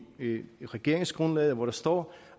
regeringsgrundlaget hvor der står